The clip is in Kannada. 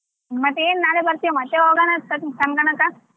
ಮತ್ತೆ ಏನ್ ನಾಳೆ ಬರ್ತೀಯಾ ಮತ್ತೆ ಹೋಗೋಣಾ .